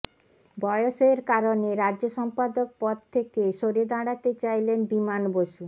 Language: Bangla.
বয়সের কারণে রাজ্য সম্পাদক পদ থেকে সরে দাঁড়াতে চাইলেন বিমান বসু